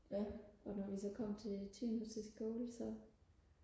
og når vi så kom til timer til skole så